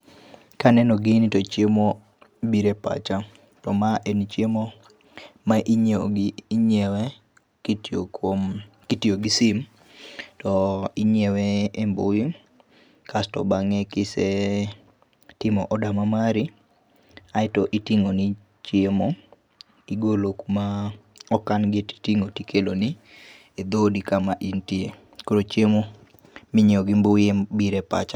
Ka aneno gini to chiemo biro e pacha. To mae en chiemo ma ingiewo gi ingiewe ki itiyo gi sim to inyiewe we mbui kasri bange ki isetiomo oda ma mari aito itingo ni chimeo, ti igilo kum otangfne 6i itingo tri ikelo ni e dhodi ka ma intie, koro chiemo mi ingiewo gi mbui ema obiro e pacha,